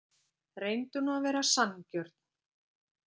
Reyndu nú að vera sanngjörn.